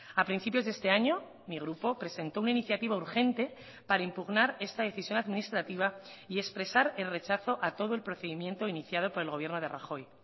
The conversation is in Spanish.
a principios de este año mi grupo presentó una iniciativa urgente para impugnar esta decisión administrativa y expresar el rechazo a todo el procedimiento iniciado por el gobierno de rajoy